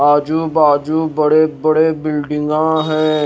आजू बाजू बड़े-बड़े बिल्डिंगा है।